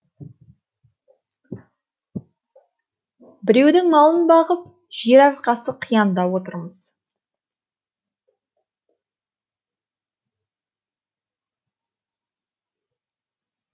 біреудің малын бағып жер арқасы қиянда отырмыз